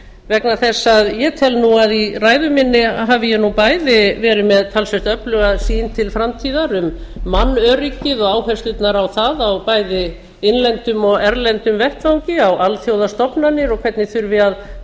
vegna þess að ég tel að í ræðu minni hafi ég nú bæði verið með talsvert öfluga sýn til framtíðar um mannöryggið og áherslurnar á það á bæði innlendum og erlendum vettvangi á alþjóðastofnanir og hvernig þurfi að